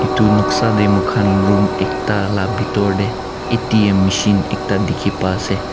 etu noksa tu moi khan room ekta laga bethor te A_T_M machine ekta dekhi pa ase.